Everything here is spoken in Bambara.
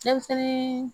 Denmisɛnnin